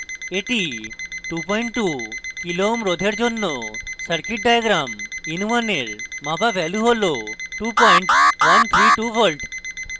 এটি 22k ω kilo ohms রোধের জন্য circuit diagram in1 এর মাপা value হল 2132v